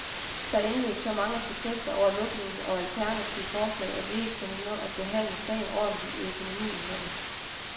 Der indløb så mange protester over lukningen og alternative forslag, at vi ikke kunne nå at behandle sagen ordentligt i økonomiudvalget.